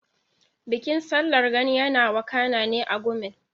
Bikin Sallar Gani yana wakana ne a Gumel.